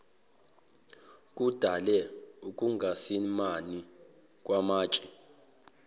kudale ukungasimami kwamatshe